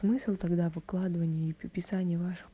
смысл тогда выкладывания писания ваших